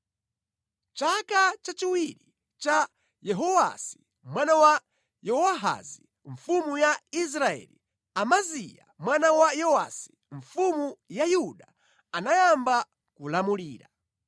Mʼchaka chachiwiri cha Yehowasi mwana wa Yowahazi mfumu ya Israeli, Amaziya mwana wa Yowasi mfumu ya Yuda anayamba kulamulira.